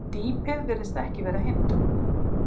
Dýpið virðist ekki vera hindrun